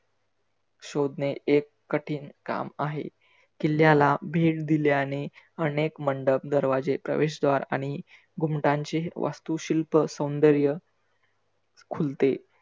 शोधने एक कठीन काम आहे. किल्ल्याल भेट दिल्याने आनेक मंडप, दरवाजे प्रवेशद्वार आणि घुमटांची वास्तुशिल्प आणि सौदर्य खुलते.